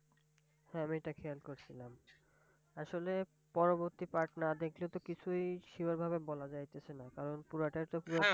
হ্যাঁ! আমি এটা খেয়াল করছিলাম। আসলে পরবর্তী Part না দেখলে তো কিছুই Sure ভাবে বলা যাইতেছে না। কারণ পুরোটাই তো